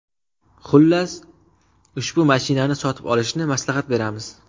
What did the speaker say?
Xullas, ushbu mashinani sotib olishni maslahat beramiz.